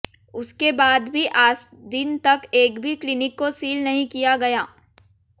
उसके बाद भी आज दिन तक एक भी क्लीनिक को सील नहीं किया गया